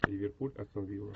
ливерпуль астон вилла